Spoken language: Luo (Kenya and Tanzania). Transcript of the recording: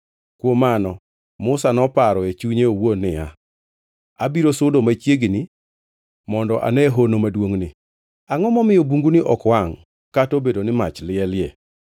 Kuom mano Musa noparo e chunye owuon niya, “Abiro sudo machiegni mondo ane hono maduongʼni. Angʼo momiyo bunguni ok wangʼ kata obedo ni mach lielie.”